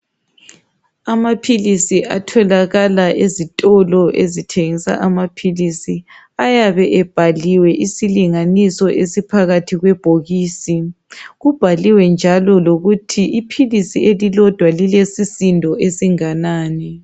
Amaphilisi atholakala ezitolo ezithengisa amaphilisi ayabe ebhaliwe isilinganiso phakathi kwebhokisi. Kubhaliwe njalo lokuthi iphilisi elilodwa lilesisindo esinganani